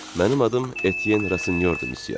Mənim adım Etyen Rasinyordur Missiya.